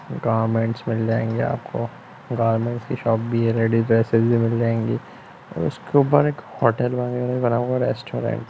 Garments मिल जाएंगे आपको गार्मेंट्स की शॉप भी है रेडी ड्रेसेज भी मिल जाएगी और उसके ऊपर एक होटल वगैरा बना हुआ है रेस्टोरेंट ।